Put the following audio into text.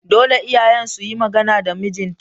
Dole iyayen suyi magana da mijin ta